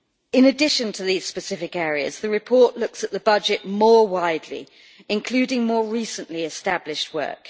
In addition to these specific areas, the report looks at the budget more widely, including more recently established work.